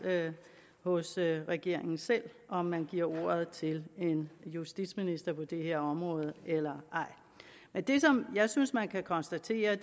hos regeringen selv om man giver ordet til en justitsminister på det her område eller ej men det som jeg synes man kan konstatere